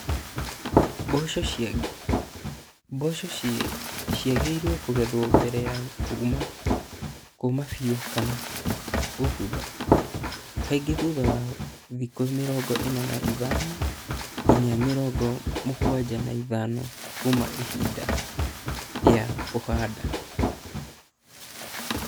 Mboco ciagĩrĩrie kũgethwo mbere ya kuuma bio kana kũbutha, kaingĩ thutha wa thikũ mĩrongo ĩna na ithano nginya mĩrongo mũgwanja na ithano kuuma hĩndĩ ya kũhanda.